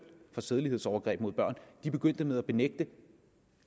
for sædelighedsovergreb mod børn begynder med at benægte